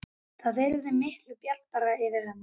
Það yrði miklu bjartara yfir henni.